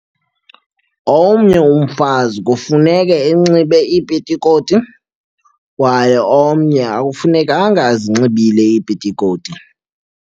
Omnye umfazi kufuneke enxibe iipitikoti kwaye omnye akufunekanga azinxibile iipitikoti.